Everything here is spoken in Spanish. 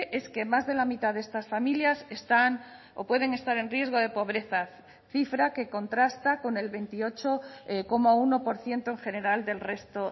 es que más de la mitad de estas familias están o pueden estar en riesgo de pobreza cifra que contrasta con el veintiocho coma uno por ciento en general del resto